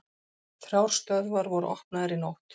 Þrjár stöðvar voru opnaðar í nótt